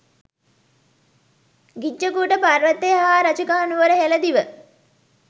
ගිජ්ජකූට පර්වතය හා රජගහ නුවර හෙල දිව